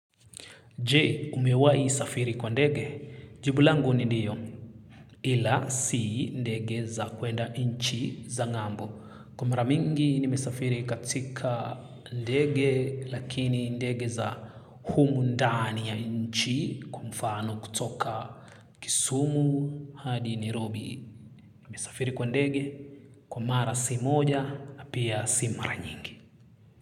Je, umewahi safiri kwa ndege? Jibu langu ni ndiyo, ila si ndege za kwenda nchi za ngambo. Kwa mara mingi nimesafirii katika ndege, lakini ndege za humu ndani ya nchi kwa mfano kutoka Kisumu, hadi Nairobi. Nimesafiri kwa ndege, kwa mara si moja, na pia si mara nyingi.